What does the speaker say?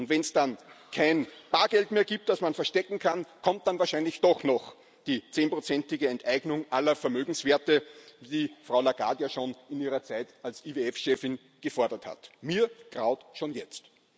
Wenn es dann kein Bargeld mehr gibt, das man verstecken kann, kommt wahrscheinlich doch noch die zehnprozentige Enteignung aller Vermögenswerte, wie Frau Lagarde ja schon in ihrer Zeit als IWF Chefin gefordert hat. Mir graut schon jetzt.